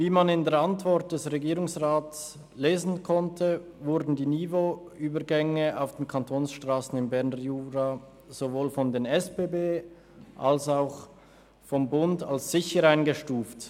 Wie man in der Antwort des Regierungsrats lesen konnte, wurden die Niveauübergänge auf den Kantonsstrassen im Berner Jura sowohl von den SBB als auch vom Bund als sicher eingestuft.